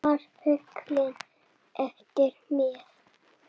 Svartur fylgir eftir með.